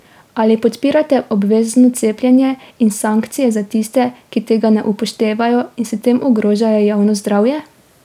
Ali podpirate obvezno cepljenje in sankcije za tiste, ki tega ne upoštevajo in s tem ogrožajo javno zdravje?